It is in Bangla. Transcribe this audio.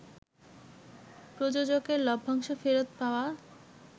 প্রযোজকের লভ্যাংশ ফেরত পাওয়া